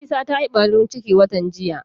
Nafisa ta yi ɓarin ciki watan jiya